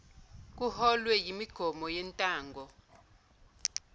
kuholwe yimigomo yentango